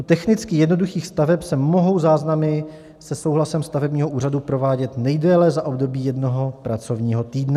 U technicky jednoduchých staveb se mohou záznamy se souhlasem stavebního úřadu provádět nejdéle za období jednoho pracovního týdne.